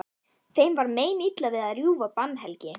Þeim var meinilla við að rjúfa bannhelgi